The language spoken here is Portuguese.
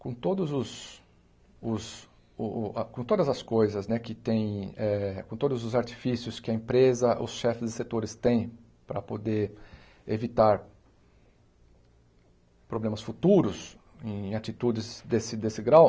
Com todos os os o o a com todas as coisas né que tem eh com todos os artifícios que a empresa, os chefes dos setores têm para poder evitar problemas futuros em atitudes desse desse grau,